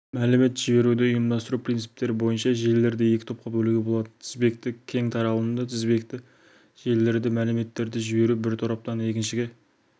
мәлімет жіберуді ұйымдастыру принциптері бойынша желілерді екі топқа бөлуге болады тізбекті кең таралымды тізбекті желілерде мәліметтерді жіберу бір тораптан екіншіге